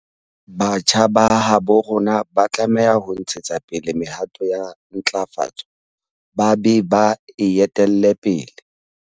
Batjha ba habo rona ba tlameha ho ntshetsa pele mehato ya ntlafatso ba be ba e etelle pele.